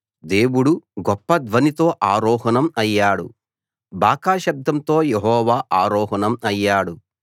దేవుడు గొప్ప ధ్వనితో ఆరోహణం అయ్యాడు బాకా శబ్దంతో యెహోవా ఆరోహణం అయ్యాడు